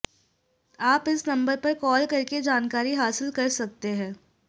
आप इस नंबर पर कॉल करके जानकारी हासिल कर सकते हैं